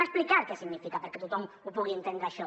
expliquem què significa perquè tothom ho pugui entendre això